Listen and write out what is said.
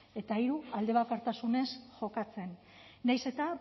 eta hiru aldebakartasunez jokatzen nahiz eta